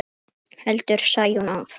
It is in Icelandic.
heldur Sæunn áfram.